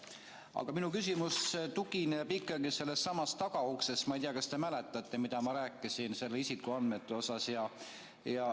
Aga minu küsimus tuleneb ikkagi sellestsamast tagauksest, ma ei tea, kas te mäletate, mida ma rääkisin isikuandmete kohta.